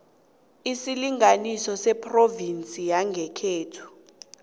isilinganiso sephrovinsi yangekhenu